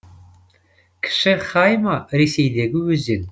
кіші хайма ресейдегі өзен